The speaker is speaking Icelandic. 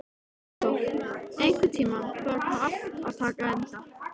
Arnþór, einhvern tímann þarf allt að taka enda.